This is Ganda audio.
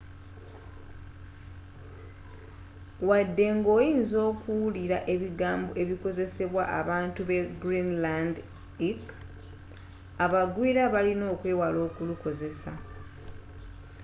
wadde nga oyinza okuwulira ebigambo ebikozesebwa abatuuze b'egreenlandic abagwiira balina okwewala okulukozesa